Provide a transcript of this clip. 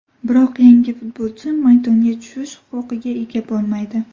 Biroq yangi futbolchi maydonga tushish huquqiga ega bo‘lmaydi.